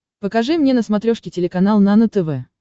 покажи мне на смотрешке телеканал нано тв